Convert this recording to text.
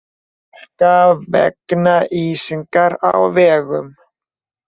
Hálka vegna ísingar á vegum